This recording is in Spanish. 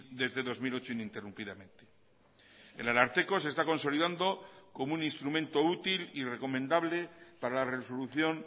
desde dos mil ocho ininterrumpidamente el ararteko se está consolidando como un instrumento útil y recomendable para la resolución